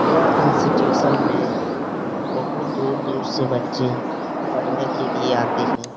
यह इंस्टिट्यूशन में बहुत दूर-दूर से बच्चे पढ़ने के लिए आते हैं ।